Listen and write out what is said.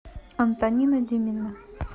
антонина демина